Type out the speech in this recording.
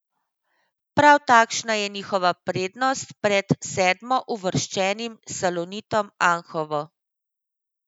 Prav takšna je njihova prednost pred sedmouvrščenim Salonitom Anhovo.